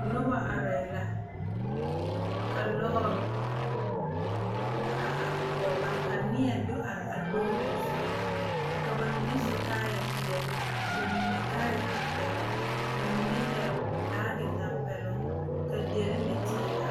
Noba arɛɛ la ka lɔɔre a are kono ba ka neɛ do are a lɔɔre zu ka ba mine su kaayɛ peɛle ba mine kaayɛ tɛmpɛloŋ ba mime yɛrɛ baagi tɛmpɛloŋ ka dire ne teere are